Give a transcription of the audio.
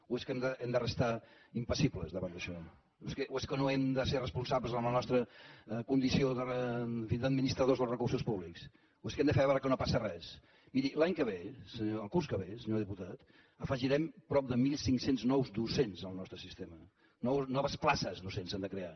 o és que hem de restar impassibles davant d’això o és que no hem de ser responsables en la nostra condició en fi d’administradors dels recursos públics o és que hem de fer veure que no passa res miri l’any que ve el curs que ve senyor diputat afegirem prop de mil cinc cents nous docents al nostre sistema noves places docents s’han de crear